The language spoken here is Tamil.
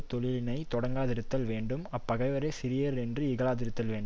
தொழிலினையும் தொடங்காதிருத்தல் வேண்டும் அப்பகைவரைச் சிறியர் என்று இகழாதிருத்தல் வேண்டும்